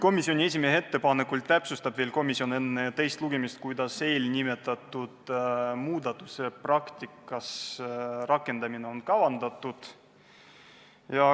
Komisjoni esimehe ettepanekul täpsustab komisjon enne teist lugemist, kuidas eelnimetatud muudatusettepaneku praktikas rakendamist on kavandatud.